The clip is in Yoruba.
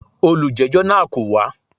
Olùjẹ́jọ́ náà kò wá.